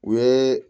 U ye